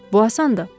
Bu asandır.